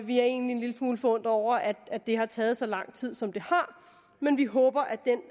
vi er egentlig en lille smule forundret over at det har taget så lang tid som det har men vi håber